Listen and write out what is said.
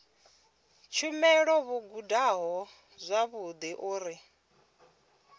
tshumelo vho gudaho zwavhudi uri